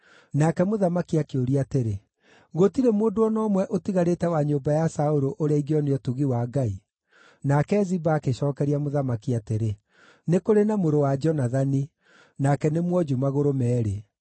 Nake mũthamaki akĩũria atĩrĩ, “Gũtirĩ mũndũ o na ũmwe ũtigarĩte wa nyũmba ya Saũlũ ũrĩa ingĩonia ũtugi wa Ngai?” Nake Ziba agĩcookeria mũthamaki atĩrĩ, “Nĩ kũrĩ na mũrũ wa Jonathani; nake nĩ mwonju magũrũ meerĩ.”